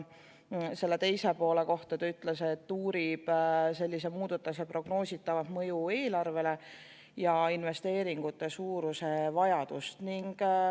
Selle teise poole kohta ta ütles, et uurib sellise muudatuse prognoositavat mõju eelarvele ja investeeringute suuruse vajadust.